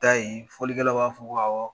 Ayi fɔlikɛlaw b'a fɔ ko awɔ